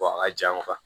a ka jan